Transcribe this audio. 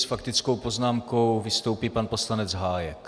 S faktickou poznámkou vystoupí pan poslanec Hájek.